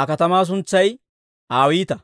Aa katamaa suntsay Awiita.